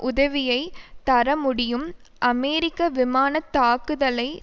உதவியைத் தரமுடியும் அமெரிக்க விமான தாக்குதலை